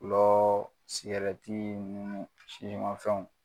Gulɔ , sigarɛti nunnu sisimafɛnw